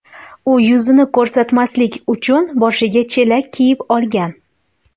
U yuzini ko‘rsatmaslik uchun boshiga chelak kiyib olgan.